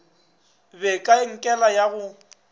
be ka enkele ya go